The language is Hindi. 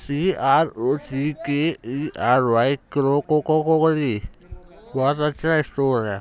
सी R O C K E R Y क्रा को को करी बहुत अच्छा स्टोर है।